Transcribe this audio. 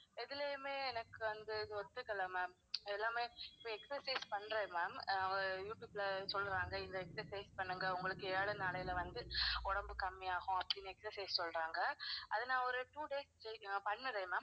எதுலையுமே எனக்கு ஒத்துக்கல ma'am. எல்லாமே இப்ப exercise பண்றேன் ma'am ஆஹ் ஒரு you tube ல சொல்றாங்க இந்த exercise பண்ணுங்க உங்களுக்கு ஏழு நாளைல வந்து உடம்பு கம்மியாகும் அப்படின்னு exercise சொல்றாங்க, அதை நான் ஒரு two days பண்ணுறேன் ma'am